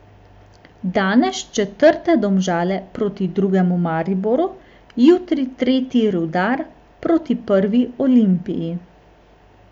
Danes četrte Domžale proti drugemu Mariboru, jutri tretji Rudar proti prvi Olimpiji.